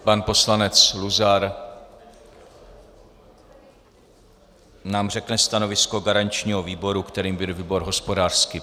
Pan poslanec Luzar nám řekne stanovisko garančního výboru, kterým byl výbor hospodářský.